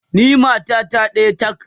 ni matata ɗaya tak!